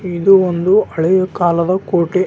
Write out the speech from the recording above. ಇದು ಒಂದು ಹಳೇ ಕಾಲದ ಕೋಟೆ.